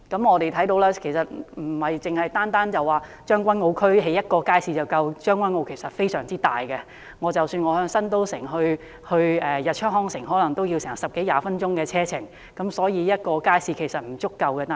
我們看到在將軍澳不是只興建一個街市便足夠，因為將軍澳非常大，由新都城到日出康城也要十多二十分鐘的車程，所以一個街市並不足夠。